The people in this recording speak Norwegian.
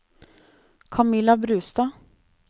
Kamilla Brustad